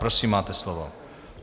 Prosím, máte slovo.